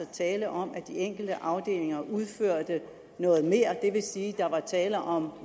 tale om at de enkelte afdelinger udførte noget mere det vil sige at der var tale om